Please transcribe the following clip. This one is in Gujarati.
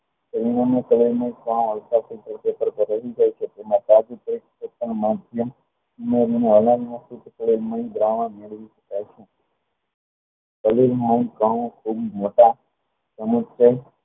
શરીરમાં કણો ખૂબ મોટા અમુક તોય